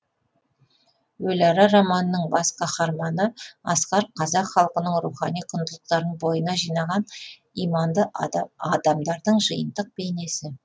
өліара романының бас қаһарманы асқар қазақ халқының рухани құндылықтарын бойына жинаған иманды адамдардың жиынтық бейнесі